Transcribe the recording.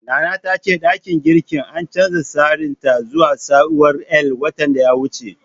Nana ta ce ɗakin girkin an canja tsarin sa zuwa taswirar L, watan da ya wuce.